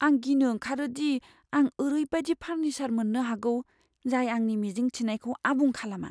आं गिनो ओंखारो दि आं ओरैबादि फार्निचार मोननो हागौ, जाय आंनि मिजिं थिनायखौ आबुं खालामा।